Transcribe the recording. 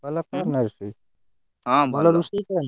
ଭଲ କରେନା ରୋଷେଇ ଭଲ ରୋଷେଇ କରନ୍ତି?